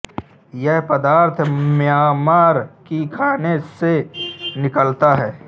यह पदार्थ म्यांमार की खानों से निकलता है